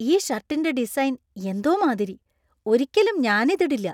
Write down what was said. ഈ ഷർട്ടിന്‍റെ ഡിസൈൻ എന്തോ മാതിരി , ഒരിക്കലും ഞാൻ ഇത് ഇടില്ല.